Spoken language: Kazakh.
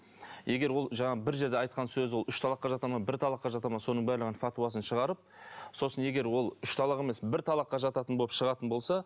егер ол жаңағы бір жерде айтқан сөз ол үш талаққа жата ма бір талаққа жата ма соның бәрін фатуасын шығарып сосын егер ол үш талақ емес бір талаққа жататын болып шығатын болса